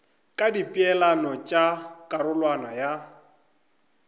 ka dipeelano tša karolwana ya